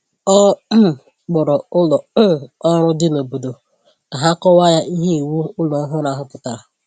Ọ um kpọrọ ụlọ um ọrụ dị n’obodo ka ha kọwaa ya ihe iwu ụlọ ọhụrụ ahụ pụtara